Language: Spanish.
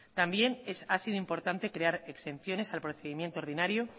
también ha sido importante crear exenciones al procedimiento ordinario